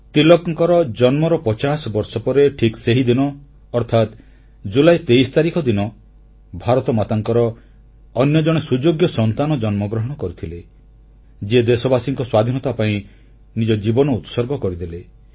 ତିଳକଙ୍କ ଜନ୍ମର 50 ବର୍ଷ ପରେ ଠିକ୍ ସେହିଦିନ ଅର୍ଥାତ୍ ଜୁଲାଇ 23 ତାରିଖ ଦିନ ଭାରତମାତାଙ୍କର ଅନ୍ୟ ଜଣେ ସୁଯୋଗ୍ୟ ସନ୍ତାନ ଜନ୍ମଗ୍ରହଣ କରିଥିଲେ ଯିଏ ଦେଶବାସୀଙ୍କ ସ୍ୱାଧୀନତା ପାଇଁ ନିଜ ଜୀବନ ଉତ୍ସର୍ଗ କରିଦେଲେ